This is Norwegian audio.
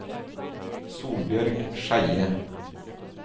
Solbjørg Skeie